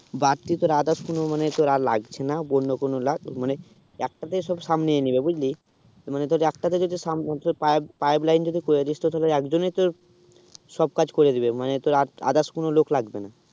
বাড়তি তোর others কোনো মানে তোর আর লাগছে না বন্য কুনোলা মানে একটা তে সব সামনে নেব বুঝলি মানে তোর একটা তে সামনে পায়ে pipe line যদি করেদিস তো তোকে একজন তোর সব কাজ করে দিবে মানে তোর others কোনো লগ লাগবে না